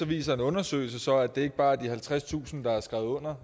viser en undersøgelse så at det ikke bare er de halvtredstusind der har skrevet under